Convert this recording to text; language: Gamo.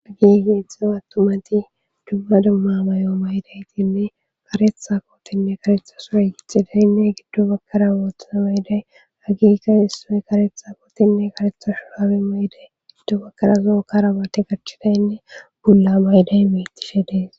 Hagi geezdxzaza attumati jumma dumma mayo maydaytiiinne karetha pootinne karetha suray yithidaynne giddo bakara woothana mayday hagiikka issoy karetha pootinne karetha shurabe mayday ggiddo bakkara zookara bate garchidaynne bulla mayday metishe dees